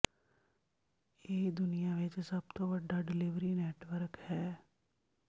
ਇਹ ਦੁਨੀਆ ਵਿਚ ਸਭ ਤੋਂ ਵੱਡਾ ਡਿਲੀਵਰੀ ਨੈਟਵਰਕ ਹੈ